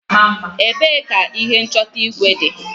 Ebee ka ihe nchọta igwe dị?